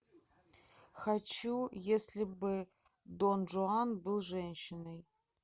хочу если бы дон жуан был женщиной